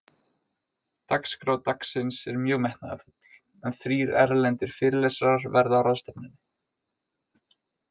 Dagskrá dagsins er mjög metnaðarfull, en þrír erlendir fyrirlesarar verða á ráðstefnunni.